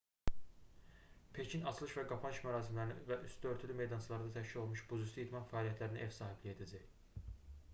pekin açılış və qapanış mərasimlərinə və üstü örtülü meydançalarda təşkil olunmuş buzüstü idman fəaliyyətlərinə ev sahibliyi edəcək